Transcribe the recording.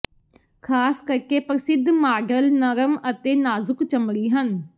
ਖ਼ਾਸ ਕਰਕੇ ਪ੍ਰਸਿੱਧ ਮਾਡਲ ਨਰਮ ਅਤੇ ਨਾਜ਼ੁਕ ਚਮੜੀ ਹਨ